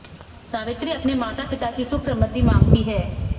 सावित्री अपने माता पिता की सुख समृद्धि मांगती है